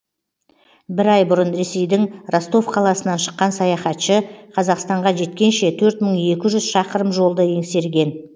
бір ай бұрын ресейдің ростов қаласынан шыққан саяхатшы қазақстанға жеткенше төрт мың екі жүз шақырым жолды еңсерген